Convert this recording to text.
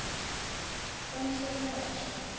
kamhlolanja